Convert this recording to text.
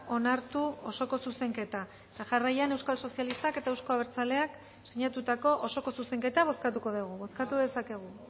onartu osoko zuzenketa eta jarraian euskal sozialistak eta euzko abertzaleak sinatutako osoko zuzenketa bozkatuko dugu bozkatu dezakegu